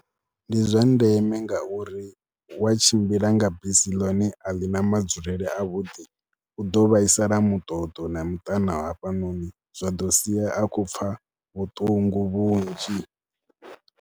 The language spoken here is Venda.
Ndi zwa ndeme ngauri wa tshimbila nga bisi ḽone a ḽi na madzulele avhuḓi, u ḓo vhaisala muṱoḓo na muṱana hafhanoni, zwa ḓo sia a khou pfha vhuṱungu vhunzhi.